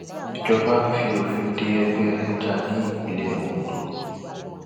ìjọba fi òfin de ẹgbẹ ẹlẹja ní ìpínlẹ ondo